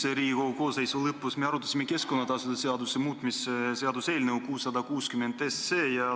Eelmise Riigikogu koosseisu lõpus arutasime me keskkonnatasude seaduse muutmise seaduse eelnõu 660.